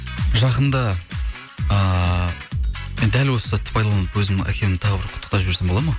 жақында ыыы мен дәл осы сәтті пайдаланып өзімнің әкемді тағы бір құттықтап жіберсем болады ма